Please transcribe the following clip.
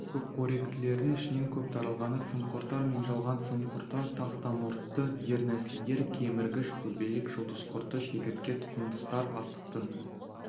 көпқоректілердің ішінен көп таралғаны сымқұрттар мен жалған сымқұрттар тақтамұртты дернәсілдер кеміргіш көбелек жұлдызқұрты шегіртке тұқымдастар астықтың